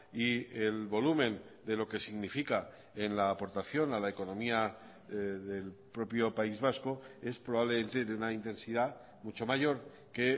y el volumen de lo que significa en la aportación a la economía del propio país vasco es probablemente de una intensidad mucho mayor que